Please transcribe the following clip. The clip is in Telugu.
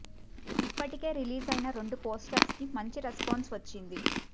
ఇప్పటికే రిలీజ్ అయిన రెండు పోస్టర్స్ కి మంచి రెస్పాన్స్ వచ్చింది